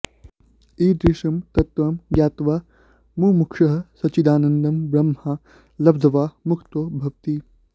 ईदृशं तत्त्वं ज्ञात्वा मुमुक्षुः सच्चिदानन्दं ब्रह्म लब्ध्वा मुक्तो भवति